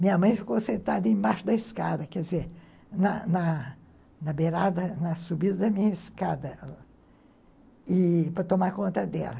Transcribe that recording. Minha mãe ficou sentada embaixo da escada, quer dizer, na na beirada, na subida da minha escada e para tomar conta dela.